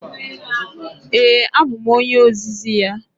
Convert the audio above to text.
Ee, abụ m onye ozizi ya.